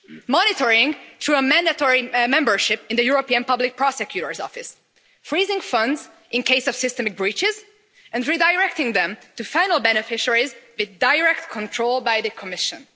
Monitoring through mandatory membership in the European Public Prosecutor's Office, freezing funds in case of systemic breaches, and redirecting them to final beneficiaries, with direct control by the Commission.